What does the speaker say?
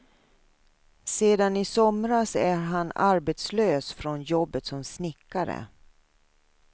Sedan i somras är han arbetslös från jobbet som snickare.